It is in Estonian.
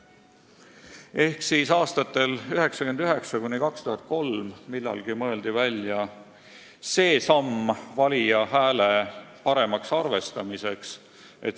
Ehk siis millalgi aastatel 1999–2003 mõeldi välja viis, kuidas valija häält paremini arvestada.